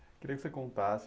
Eu queria que você contasse...